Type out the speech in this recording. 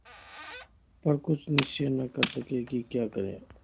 पर कुछ निश्चय न कर सके कि क्या करें